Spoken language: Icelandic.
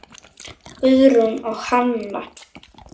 Guðrún og hann.